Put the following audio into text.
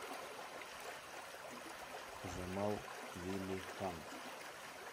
джамал велиханов